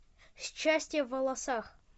счастье в волосах